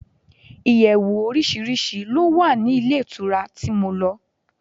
Ìyẹ̀wù oríṣiríṣi ló wà ní ilé ìtura tí mo lọ.